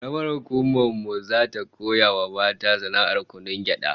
Karamar hukumar mu zata koya wa mata sana'ar kunun gyada